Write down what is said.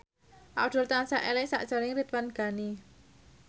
Abdul tansah eling sakjroning Ridwan Ghani